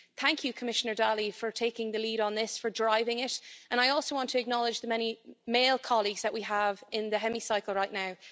Thank you, Commissioner Dalli, for taking the lead on this, for driving it and I also want to acknowledge the many male colleagues that we have in the Chamber right now.